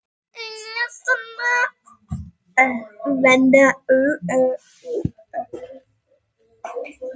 Engilrós, slökktu á þessu eftir þrjár mínútur.